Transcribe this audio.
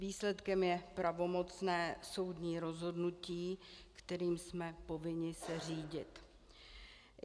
Výsledkem je pravomocné soudní rozhodnutí, kterým jsme povinni se řídit.